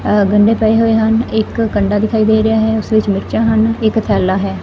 ਆਹ ਗੰਨੇ ਪਏ ਹੋਏ ਹਨ ਇੱਕ ਕੰਡਾ ਦਿਖਾਈ ਦੇ ਰਿਹਾ ਹੈ ਉੱਸ ਵਿੱਚ ਮਿਰਚਾਂ ਹਨ ਇੱਕ ਥੈੱਲਾ ਹੈ।